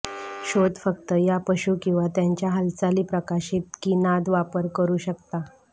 शोध फक्त या पशू किंवा त्याच्या हालचाली प्रकाशित की नाद वापर करू शकता